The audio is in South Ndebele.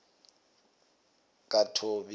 kathobi